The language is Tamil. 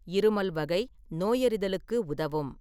இருமல் வகை நோயறிதலுக்கு உதவும்.